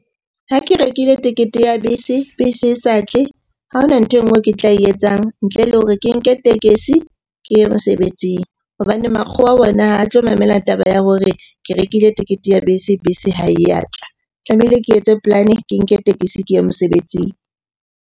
Ha ke rekile tekete ya bese, bese e sa tle. Ha hona nthwe e nngwe e ke tla e etsang ntle le hore ke nke tekesi ke ye mosebetsing. Hobane makgowa ona ha tlo mamela taba ya hore ke rekile tekete ya bese, bese ha e ya tla. Tlamehile ke etse polane, ke nke tekesi ke ye mosebetsing.